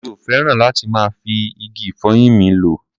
Mi ò fẹ́ràn láti máa fi igi ìfọyín mi lọ́.